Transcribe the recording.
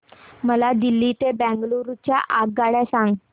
मला दिल्ली ते बंगळूरू च्या आगगाडया सांगा